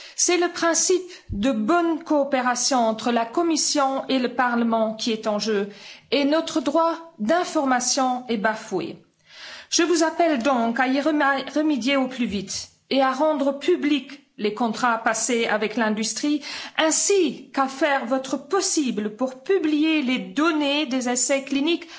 C'est le principe de bonne coopération entre la Commission et le Parlement qui est en jeu, et notre droit à l'information est bafoué. Je vous appelle donc à y remédier au plus vite et à rendre publics les contrats passés avec l'industrie, ainsi qu'à faire votre possible pour publier les données des essais cliniques